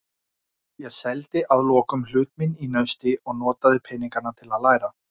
Ég seldi að lokum hlut minn í Nausti og notaði peningana til að læra.